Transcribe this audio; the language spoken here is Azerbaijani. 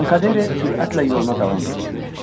Tankadere sürətlə yoluna davam eləyirdi.